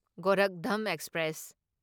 Gorakhdham express